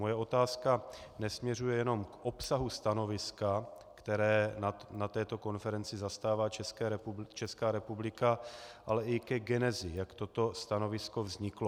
Moje otázka nesměřuje jenom k obsahu stanoviska, které na této konferenci zastává Česká republika, ale i ke genezi, jak toto stanovisko vzniklo.